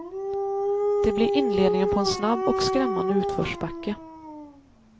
Det blir inledningen på en snabb och skrämmande utförsbacke.